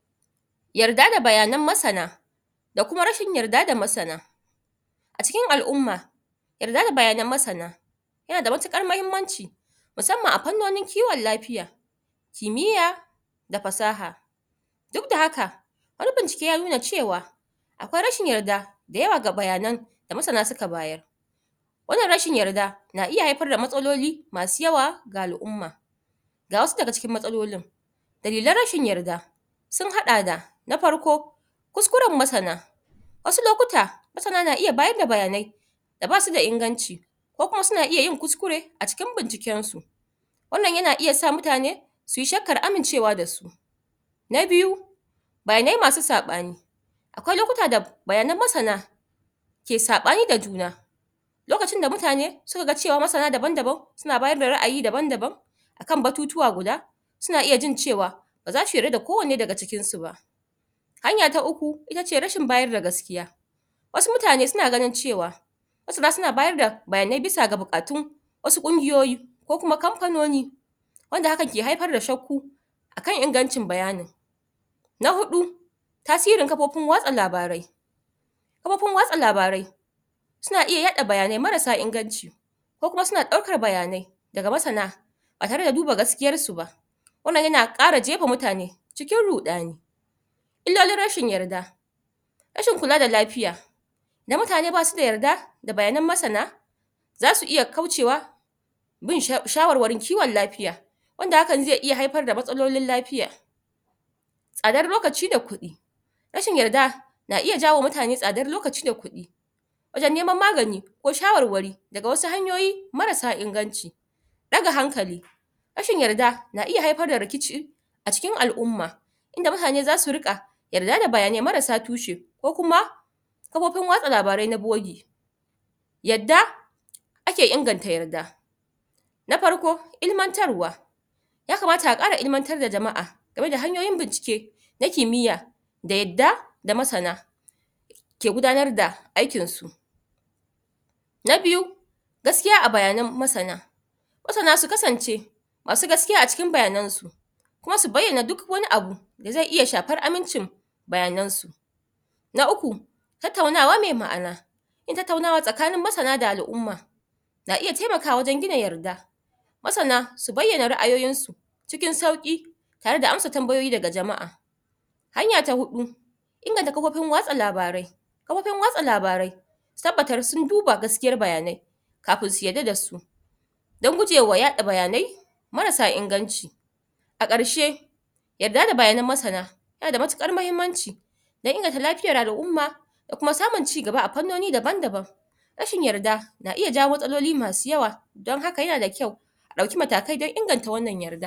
da muke gani a wannan bidiyo [aaarhg] muna iya ganin hannu mai riƙe da kifi wannan daga gani masunci ne yayin da ya kamo kifi a cikin laka [arrgh] wannan wani salo ne na kamun kiifi wa'inda ake samun irin wa'innan nau'i na kifi dake iya rayuwa a cikin laka wannan nau'i na kifi suna da suna da wuraren da suke rayuwa kala wuri daban daban, suna iya rayuwa rafi suna iyayi a kwatami suna iyayi kuma a cikin laka saboda su sunada baiwan da komin ƙanƙantan iska a wuri suna iya yin rayuwa a wurin duk inda suka samu kansu suna iya yin rayuwa a wurin wa'innan manoma kuma kuma daga gani ƙwararru ne wurin wa'innan masunta daga gani ƙwararru ne wurin kamun kifi a irin wannan wuri mai laka laka dan wannan kifi yana zama a wurin eh kaman yanda muke gani wannan ya samu nasaran kamawa a cikin lakan yayin da ya ɗago don mutane su gani shi wannan nau'i na kifin ehh anace mashi mud fish ehh ana samun shine a wurare mai laka ahh kuma wannan ana iya samun shi a ruwa yana rayuwa kuma a inda isaka bai ba iska sosai inda ake da ƙarancin iska wannan kifi yana da baiwar rayuwa a wuraren [mmmm] wannan ehh kifi mai suna mud fish yana yana me zance yana iya ana iya samun shine a wurare kaman ehh ɓarayin asia ƙasashe ɓarayin asia da ɓarayin africa da ɓarayin newzealand anfi samun irin wannan kifi a wurin kuma wannan kifi da muke gani yawanci ana kiwon shi a gida musamman mata dake zaune a gida da wasu mazan kuma da suka karanci harkan ehh kiwo na noma suna suna kiwon irin wannan kifi ehh sannan wannan kifi baida cutarwa ana kiwon shine domin a ci shi a matsayin abinci naman shi nada zaƙi kuma yana da sauƙin sarrafawa ana iya soya shi ana kuma iya akasa don a kai kasuwa a dinga siyar wa ehh wannan kifi ne mai daɗin sha'ani mai me daɗin ci, sannan wannan kifi yana ɗaya daga cikin nau'i ne na abinci mai suna protein dan ana cin shi a matsayin abinci ɗaya daga cikin abinci me nau'in abinci mai suna protein wanda ke gina jiki ehh kowa yasan amfanin protein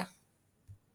a jiki.